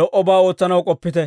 lo"obaa ootsanaw k'oppite.